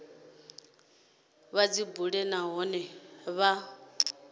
vha dzi bule nahone vha